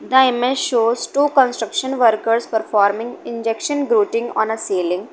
The image shows two construction workers performing injection growting on a ceiling.